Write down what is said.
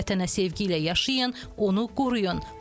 Vətənə sevgi ilə yaşayın, onu qoruyun.